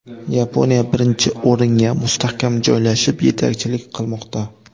Yaponiya birinchi o‘ringa mustahkam joylashib, yetakchilik qilmoqda.